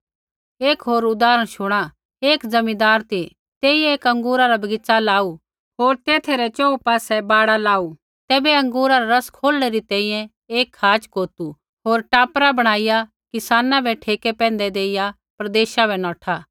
एक होर उदाहरण शुणा एक ज़मींदार ती तेइयै एक अँगूरा रा बगीच़ा लाऊ होर तेथा रै च़ोहू पासै बाड़ लाऊ तैबै अँगूरा रा रस खोलणै री तैंईंयैं एक खाच़ कोतू होर टापरा बणाईया किसाना बै ठेके पैंधै देइया प्रदेशा बै नौठा